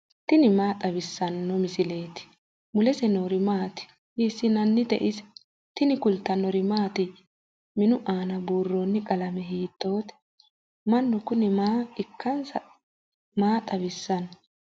tini maa xawissanno misileeti ? mulese noori maati ? hiissinannite ise ? tini kultannori mattiya? Minnu aanna buuronni qalame hiittotte? Mannu Kuni maa ikkansa maa xawissanno?